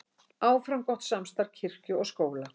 Áfram gott samstarf kirkju og skóla